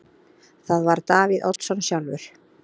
Það var Davíð Oddsson sjálfur.